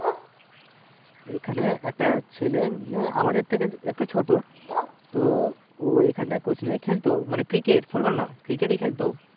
এখানে একটা ছেলে ইয়ে আমাদের থেকে একটু ছোটো তো ও এখানে coach নিয়ে খেলতো মানে cricket, football নয় cricket ই খেলতো